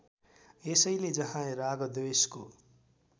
यसैले जहाँ रागद्वेषको